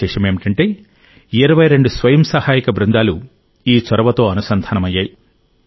విశేషమేమిటంటే 22 స్వయం సహాయక బృందాలు ఈ చొరవతో అనుసంధానమయ్యాయి